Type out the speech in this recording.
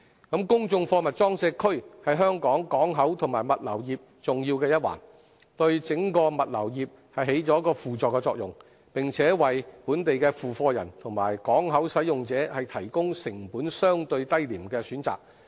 公眾貨物裝卸區是香港港口及物流業重要的一環，對整個物流業起輔助作用，並為本地付貨人和港口使用者提供成本相對低廉的選擇。